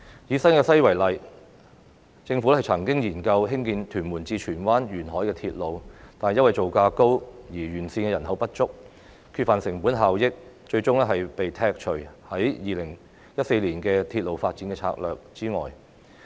以新界西為例，政府曾經研究興建屯門至荃灣沿海鐵路，但因為造價高及沿線人口不足，缺乏成本效益，最終被剔除於《鐵路發展策略2014》外。